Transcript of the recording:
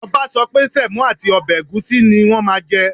Ọba sọ pé semo àti ọbẹ̀ ẹ̀gúsí ní wọn máa jẹ